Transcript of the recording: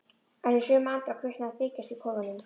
En í sömu andrá kviknaði þykjast í kofanum.